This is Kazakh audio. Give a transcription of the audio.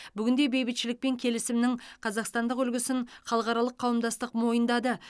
бүгінде бейбітшілік пен келісімнің қазақстандық үлгісін халықаралық қауымдастық мойындады